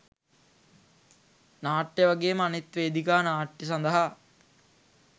නාට්‍ය වගේම අනෙක් වේදිකා නාට්‍ය සඳහා